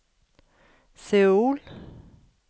Seoul